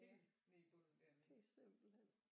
Helt nede i bunden dernede